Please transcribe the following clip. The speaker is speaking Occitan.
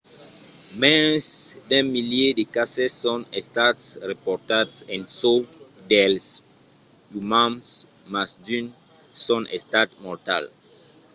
mens d'un milièr de cases son estats raportats en çò dels umans mas d’unes son estats mortals